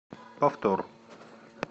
повтор